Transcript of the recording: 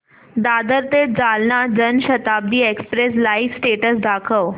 दादर ते Jalna Janshatabdi express live status दाखव